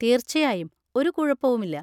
തീർച്ചയായും! ഒരു കുഴപ്പവുമില്ല.